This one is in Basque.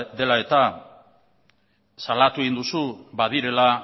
dela eta salatu egin duzu badirela